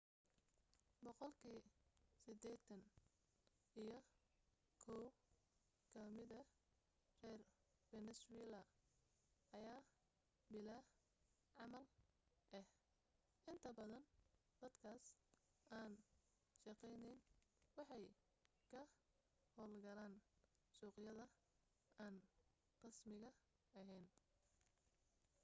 boqolkii sideetani iyo kow ka mida reer fenesweela ayaa bilaa camal ah inta badan dadkaas aan shaqayni waxay ka hawlgalaan suuqyada aan rasmiga ahayn